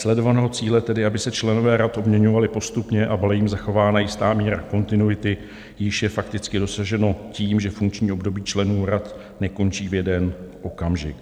Sledovaného cíle, tedy aby se členové rad obměňovali postupně a byla jim zachována jistá míra kontinuity, již je fakticky dosaženo tím, že funkční období členů rad nekončí v jeden okamžik.